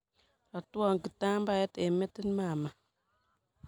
Ratwa kitambaet eng metit mama.